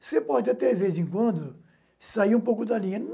Você pode, até de vez em quando, sair um pouco da linha.